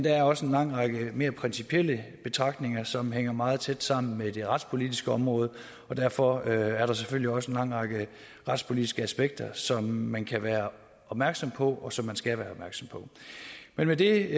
er også en lang række mere principielle betragtninger som hænger meget tæt sammen med det retspolitiske område og derfor er der selvfølgelig også en lang række retspolitiske aspekter som man kan være opmærksom på og som man skal være opmærksom på men med det